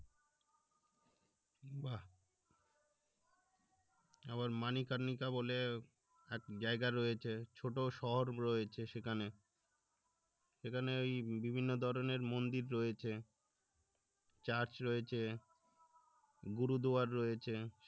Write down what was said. আবার মানিকারনিককা বলে এক জায়গা রয়েছে ছোট শহর রয়েছে সেখানে এখানে ওই বিভিন্ন ধরনের মন্দির রয়েছে church রয়েছে gurudwar রয়েছে